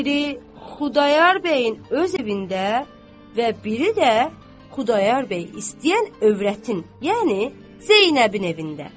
Biri Xudayar bəyin öz evində və biri də Xudayar bəy istəyən övrətin, yəni Zeynəbin evində.